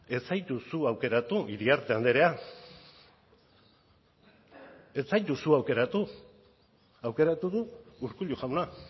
ez zaitu zu aukeratu iriarte andrea ez zaitu zu aukeratu aukeratu du urkullu jauna